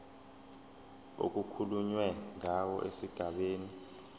okukhulunywe ngawo esigabeni